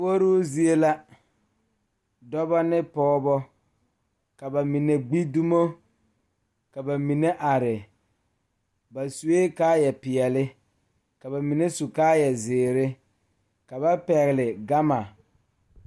Puori zie la dɔɔba ane pɔgeba noɔre la ka dɔɔba ne pɔgeba ka yie a are ka Wɔɔre a are ka kyɛkyɛpeɛle bebe ka bɔbɔɛ a bebe